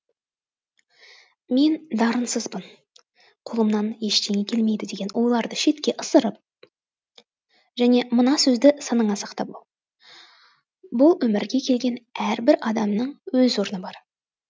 мен дарынсызбын қолымнан ештеңе келмейді деген ойларды шетке ысырып және мына сөзді санаңа сақтап ал бұл өмірге келген әрбір адамның өз орны бар